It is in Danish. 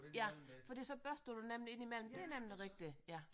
Ja fordi så børster du nemlig ind imellem det er nemlig rigtigt ja